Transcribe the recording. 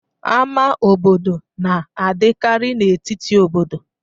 Ama obodo na-adakiri n'etiti obodo